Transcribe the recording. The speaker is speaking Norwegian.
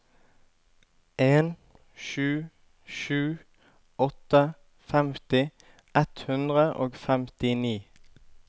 en sju sju åtte femti ett hundre og femtini